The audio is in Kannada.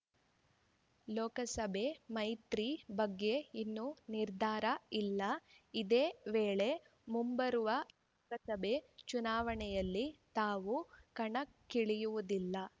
ಲೋಕಸಭೆ ಮೈತ್ರಿ ಬಗ್ಗೆ ಇನ್ನೂ ನಿರ್ಧಾರ ಇಲ್ಲ ಇದೇ ವೇಳೆ ಮುಂಬರುವ ಲೋಕಸಭೆ ಚುನಾವಣೆಯಲ್ಲಿ ತಾವು ಕಣಕ್ಕಿಳಿಯುವುದಿಲ್ಲ